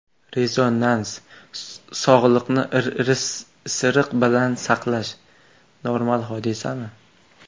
Rezonans: Sog‘liqni isiriq bilan saqlash – normal hodisami?.